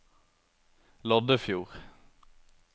Loddefjord